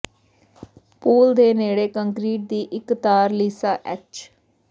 pool ਦੇ ਨੇੜੇ concrete ਦੀ ਇੱਕ ਤਾਰ ਲੀਸਾ ਐੱਚ